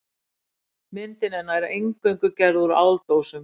Myndin er nær eingöngu gerð úr áldósum.